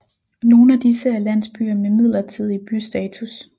Nogen af disse er landsbyer med midlertidig bystatus